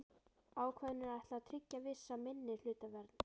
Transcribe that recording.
Ákvæðinu er ætlað að tryggja vissa minnihlutavernd.